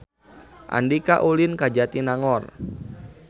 Andika ulin ka Jatinangor